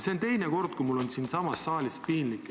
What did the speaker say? See on teine kord, kui mul on siin saalis piinlik.